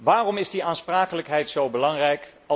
Waarom is die aansprakelijkheid zo belangrijk?